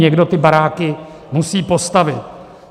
Někdo ty baráky musí postavit.